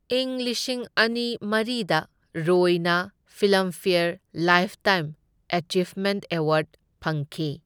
ꯏꯪ ꯂꯤꯁꯤꯡ ꯑꯅꯤ ꯃꯔꯤꯗ ꯔꯣꯏꯅ ꯐꯤꯜꯂꯝꯐꯦꯌꯔ ꯂꯥꯏꯐꯇꯥꯏꯝ ꯑꯦꯆꯤꯚꯃꯦꯟ꯭ꯇ ꯑꯦꯋꯥꯔ꯭ꯗ ꯐꯪꯈꯤ꯫